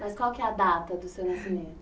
Mas qual que é a data do seu nascimento?